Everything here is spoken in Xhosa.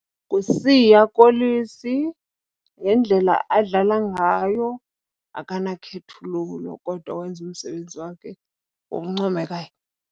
NguSiya Kolisi ngendlela adlala ngayo, akanakhethululo kodwa wenza umsebenzi wakhe ngokuncomekayo.